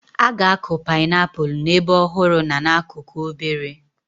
A ga-akụ painiapulu n'ebe ọhụrụ na n'akụkụ obere.